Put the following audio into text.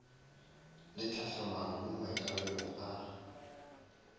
le tlhahlamano mo maikarabelong a